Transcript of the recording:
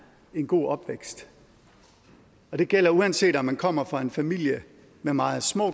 en god opvækst og det gælder uanset om man kommer fra en familie med meget små